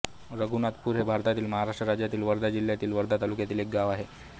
रघुनाथपुर हे भारतातील महाराष्ट्र राज्यातील वर्धा जिल्ह्यातील वर्धा तालुक्यातील एक गाव आहे